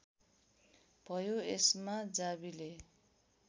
भयो यसमा जावीले